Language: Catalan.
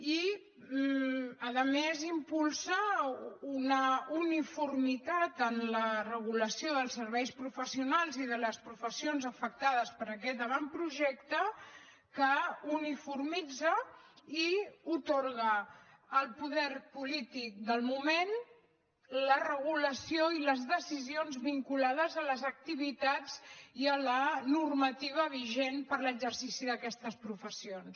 i a més impulsa una uniformitat en la regulació dels serveis professionals i de les professions afectades per aquest avantprojecte que uniformitza i atorga al poder polític del moment la regulació i les decisions vinculades a les activitats i a la normativa vigent per a l’exercici d’aquestes professions